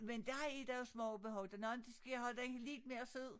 Men dér er der jo smag og behag der nogen de skal havde den lidt mere sød